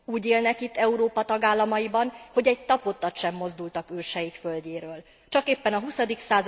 Úgy élnek itt Európa tagállamaiban, hogy egy tapodtat sem mozdultak őseik földjéről, csak éppen a XX.